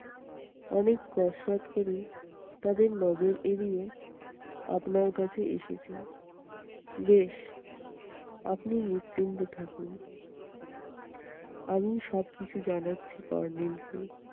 অনেক কসরৎ করে তাদের নজর এড়িয়ে আপনার কাছে এসেছি। বেশ আপনি নিশ্চিন্ত থাকুন, আমি সবকিছু জানাচ্ছি kornel কে।